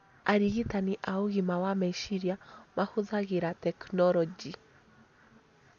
Arigitani a ũgima wa meciria mahũthagĩra tekinoronjĩ,